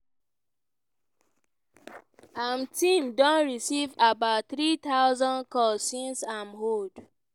im team don receive about 3000 calls since im hold